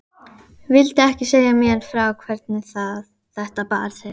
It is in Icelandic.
Viltu ekki segja mér frá hvernig þetta bar til?